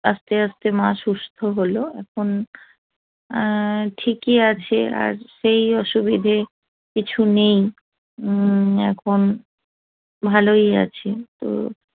আস্তে আস্তে মা সুস্থ হলো এখন অ্যা ঠিকই আছে আর এই অসুবিধে কিছু নেই হম এখন ভালোই আছে তো